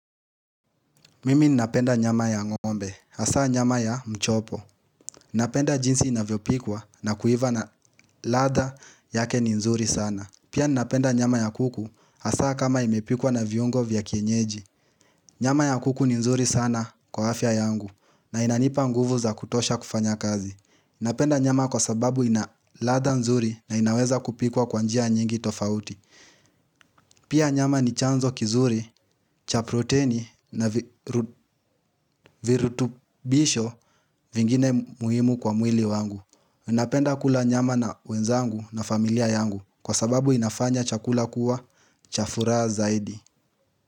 Mimi ninapenda nyama ya ngombe, hasaa nyama ya mchopo. Napenda jinsi inavyopikwa na kuiva na radha yake ni nzuri sana. Pia ninapenda nyama ya kuku hasaa kama imepikwa na viungo vya kienyeji. Nyama ya kuku ni nzuri sana kwa afya yangu na inanipa nguvu za kutosha kufanya kazi. Ninapenda nyama kwa sababu ina radha nzuri na inaweza kupikwa kwa njia nyingi tofauti. Pia nyama ni chanzo kizuri, cha proteini na vi ru virutubisho vingine muhimu kwa mwili wangu. Napenda kula nyama na wenzangu na familia yangu kwa sababu inafanya chakula kuwa cha furaha zaidi.